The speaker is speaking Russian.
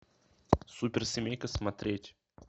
суперсемейка смотреть